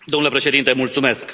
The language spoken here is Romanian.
Domnule președinte, mulțumesc.